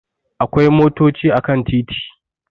Akwai motochi a kan titi